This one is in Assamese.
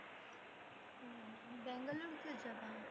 অ' বাংগালোৰ কিয় যাবা?